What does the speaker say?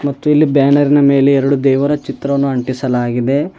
ಮತ್ತು ಇಲ್ಲಿ ಬ್ಯಾನರ್ ನ ಮೇಲೆ ಎರಡು ದೇವರ ಚಿತ್ರವನ್ನು ಅಂಟಿಸಲಾಗಿದೆ.